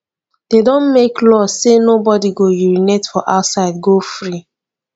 de don make law say nobody go urinate for outside go free